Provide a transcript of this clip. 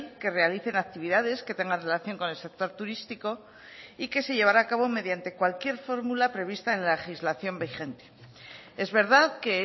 que realicen actividades que tengan relación con el sector turístico y que se llevará a cabo mediante cualquier fórmula prevista en la legislación vigente es verdad que